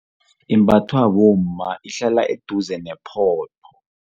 Imbathwa bomma ihlala eduze ne